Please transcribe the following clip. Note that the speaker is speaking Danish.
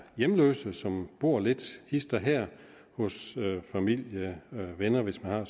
hjemløse som bor lidt hist og her hos familie og venner hvis man har